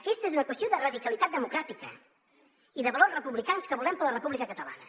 aquesta és una qüestió de radicalitat democràtica i de valors republicans que volem per a la república catalana